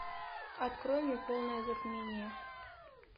открой мне полное затмение